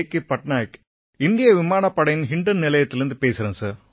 பட்நாயக் இந்திய விமானப்படையின் ஹிண்டன் நிலையத்திலேர்ந்து பேசறேன் சார்